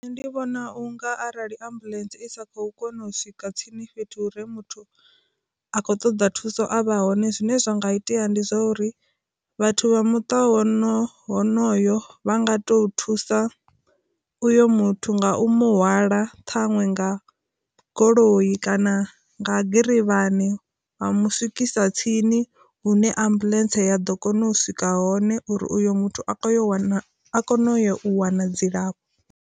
Ndi vhona unga arali ambuḽentse i sa kho kona u swika tsini fhethu uri muthu a khou ṱoḓa thuso avha hone zwine zwa nga itea ndi zwa uri, vhathu vha muṱa hono honoyo vha nga to thusa uyo muthu nga u mu hwala ṱhaṅwe nga goloyi kana nga girivhani vha mu swikisa tsini hune ambuḽentse ya ḓo kona u swika hone uri uyo muthu a yo wana a kone u wana dzilafho.